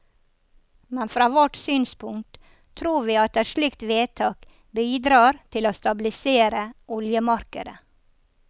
Men fra vårt synspunkt tror vi at et slikt vedtak bidrar til å stabilisere oljemarkedet.